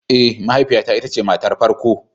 Ee, mahaifiyata ita ce matar farko.